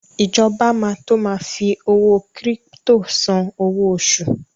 Ìjọba máa to ma fi owó kírípítò san owó oṣù.